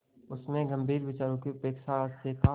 उसमें गंभीर विचारों की अपेक्षा हास्य का